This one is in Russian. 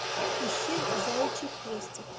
ищи заячий хвостик